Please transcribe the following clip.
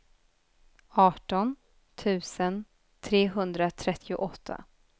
arton tusen trehundratrettioåtta